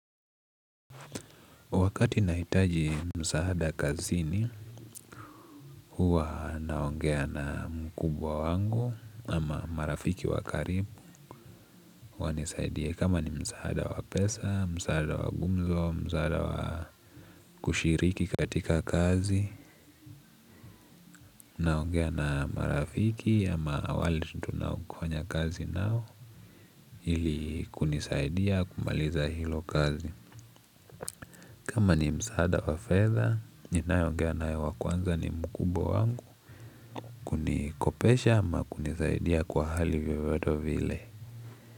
Wakati nahitaji msaada kazini huwa naongea na mkubwa wangu ama marafiki wakaribu wanisaidie kama ni msaada wa pesa, msaada wa gumzo, msaada wa kushiriki katika kazi. Naongea na marafiki ama wale tunakuwanafanya kazi nao ili kunisaidia kumaliza hilo kazi. Kama ni msaada wa fedha, ninae ongea nae wakwanza ni mkubwa wangu kunikopesha ama kunisaidia kwa hali vyovyote vile.